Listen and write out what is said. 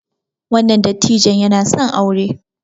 wannan dattijon yana son aure